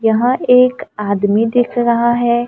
यहां एक आदमी दिख रहा है।